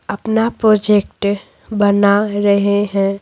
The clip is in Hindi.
अपना प्रोजेक्ट बना रहे हैं।